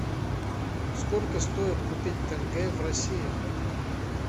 сколько стоит купить тенге в россии